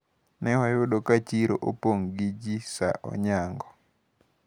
Newayudo ka chiro opong` gi ji saa onyango.